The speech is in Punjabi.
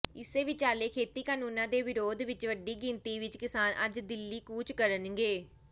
ਇਸੇ ਵਿਚਾਲੇ ਖੇਤੀ ਕਾਨੂੰਨਾਂ ਦੇ ਵਿਰੋਧ ਵਿੱਚ ਵੱਡੀ ਗਿਣਤੀ ਵਿੱਚ ਕਿਸਾਨ ਅੱਜ ਦਿੱਲੀ ਕੂਚ ਕਰਨਗੇ